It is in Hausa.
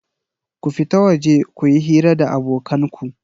Ku fita waje ku yi hira da abokan ku!